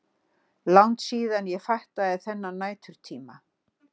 Langt síðan ég fattaði þennan næturtíma.